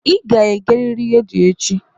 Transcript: Ị ga-egerịrị redio echi!